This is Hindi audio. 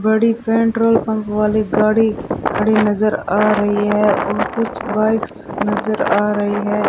बड़ी पेट्रोल पंप वाली गाड़ी खड़ी नजर आ रही है और कुछ बाइक्स नजर आ रही है।